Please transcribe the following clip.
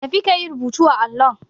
Tafi ka yi rubutu a allon.